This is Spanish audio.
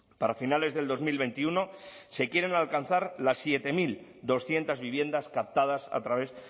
para finales de dos mil veintiuno se quieren alcanzar las siete mil doscientos viviendas captadas a través